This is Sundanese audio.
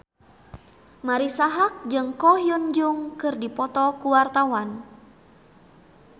Marisa Haque jeung Ko Hyun Jung keur dipoto ku wartawan